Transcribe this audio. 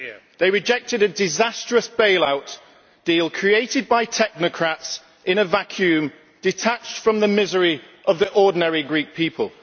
They rejected a disastrous bailout deal created by technocrats in a vacuum detached from the misery of the ordinary Greek people.